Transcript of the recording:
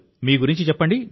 మీ గురించి చెప్పండి